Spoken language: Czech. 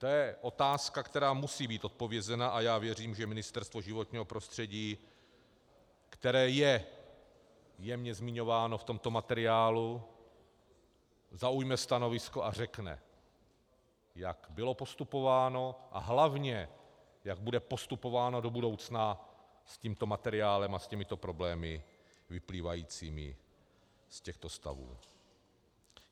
To je otázka, která musí být odpovězena, a já věřím, že Ministerstvo životního prostředí, které je jemně zmiňováno v tomto materiálu, zaujme stanovisko a řekne, jak bylo postupováno, a hlavně jak bude postupováno do budoucna s tímto materiálem a s těmito problémy vyplývajícími z těchto stavů.